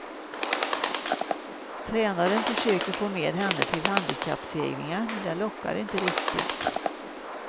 Tränarna försöker få med henne till handikappseglingar, men det lockar inte riktigt.